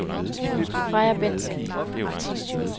Freja Bentzen